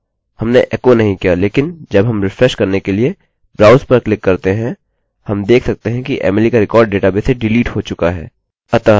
हमने एको नहीं किया लेकिन जब हम रिफ्रेशrefresh करने के लिए browse पर क्लिक करते हैं हम देख सकते हैं कि emily का रिकार्ड डेटाबेस से डिलीट हो चुका है